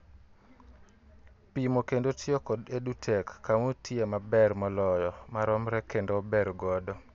Pimo kendo tiyo kod EduTech kama otiyoe maber moloyo, maromre kendo ober godo